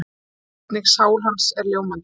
Einnig sál hans er ljómandi.